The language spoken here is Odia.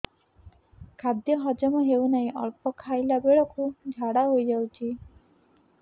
ଖାଦ୍ୟ ହଜମ ହେଉ ନାହିଁ ଅଳ୍ପ ଖାଇଲା ବେଳକୁ ଝାଡ଼ା ହୋଇଯାଉଛି